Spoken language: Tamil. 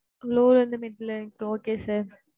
low ல இருந்து, mid வரைக்கும் okay sir